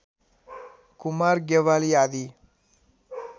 कुमार ज्ञवाली आदि